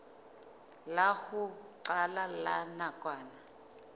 la ho qala la nakwana